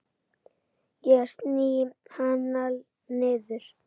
Ég sný hana niður.